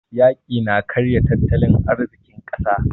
Yaƙi na karya tattalin arzikin ƙasa.